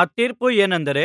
ಆ ತೀರ್ಪು ಏನೆಂದರೆ